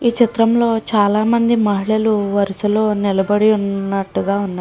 ఈ చిత్రంలో చాలామంది మహిళలు వరుసలో నిలబడి ఉన్నట్టుగా ఉంది.